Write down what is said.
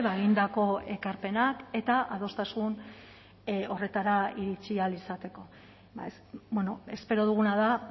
egindako ekarpenak eta adostasun horretara iritsi ahal izateko espero duguna da